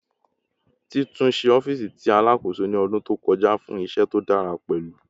Titunṣe ọfiisi ti Alakoso ni ọdun to kọja fun iṣẹ to dara pẹlu